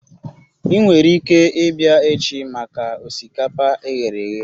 Ị nwere ike ịbịa echi maka osikapa e ghere eghe